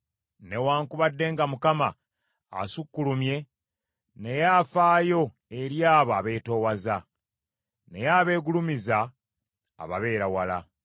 Newaakubadde nga Mukama asukkulumye, naye afaayo eri abo abeetoowaza; naye abeegulumiza ababeera wala.